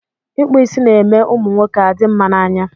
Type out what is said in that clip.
Ịkpụ isi ná-eme ụmụ nwoke adị mma na anya.